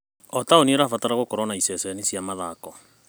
O taoni ĩrabatara gũkorwo na iceceni cia mathako.